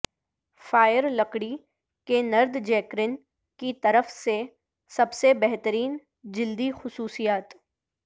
fire لکڑی کے نردجیکرن کی طرف سے سب سے بہترین جلدی خصوصیات